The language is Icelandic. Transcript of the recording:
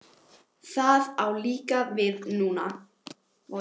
Það á líka við núna.